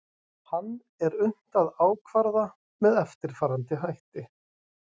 hann er unnt að ákvarða með eftirfarandi hætti